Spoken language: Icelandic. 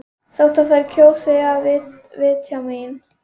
Þótt þær kjósi að vitja mín.